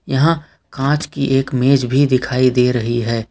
यहां कांच की एक मेज भी दिखाई दे रही है।